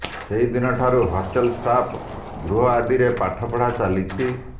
ସେହିଦିନ ଠାରୁ hostel staff ଗୃହ ଆଦିରେ ପାଠପଢା ଚାଲିଛି